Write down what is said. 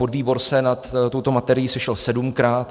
Podvýbor se nad touto materií sešel sedmkrát.